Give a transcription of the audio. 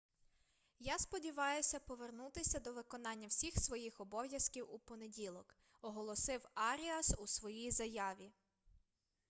я сподіваюся повернутися до виконання всіх своїх обов'язків у понеділок - оголосив аріас у своїй заяві